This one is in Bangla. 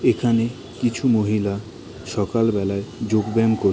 এখানে কিছু মহিলা সকাল বেলায় যোগ ব্যায়াম কর--